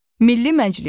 Milli Məclis.